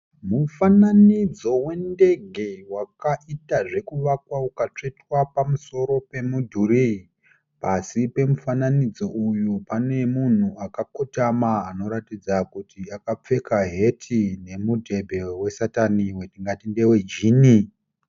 Mufananidzo wendege wakaita zvekuvakwa ukatsvetwa pamusoro pemudhuri. Pasi pemufananidzo uyu pane munhu akakotama anoratidza kuti akapfeka heti nemudhebhe wesatani tingati ndewe jini.